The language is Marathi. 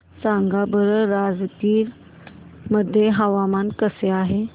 सांगा बरं राजगीर मध्ये हवामान कसे आहे